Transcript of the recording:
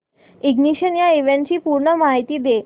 ignition या इव्हेंटची पूर्ण माहिती दे